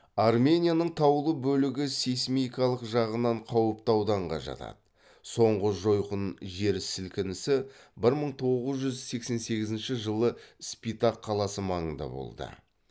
арменияның таулы бөлігі сейсмикалық жағынан қауіпті ауданға жатады соңғы жойқын жерсілкішсі бір мың тоғыз жүз сексен сегізінші жылы спитак қаласы маңында болды